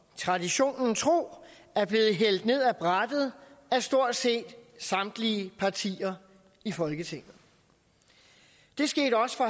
traditionen tro er blevet hældt ned ad brættet af stort set samtlige partier i folketinget det skete også for